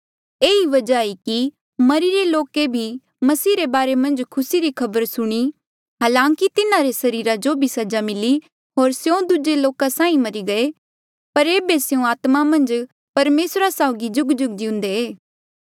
ये ई वजहा ई कि मरिरे लोके भी मसीह रे बारे मन्झ खुसी री खबर सुणी हालांकि तिन्हारे सरीरा जो भी सजा मिली होर स्यों दूजे लोका साहीं मरी गये पर ऐबे स्यों आत्मा मन्झ परमेसरा साउगी जुगजुग जिउंदे